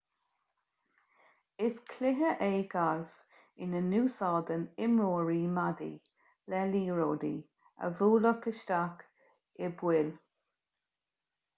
is cluiche é galf ina n-úsáideann imreoirí maidí le liathróidí a bhualadh isteach i bpoill